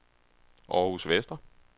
Århus Vestre